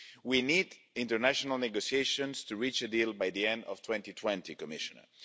We need international negotiations to reach a deal by the end of 2020, Commissioner.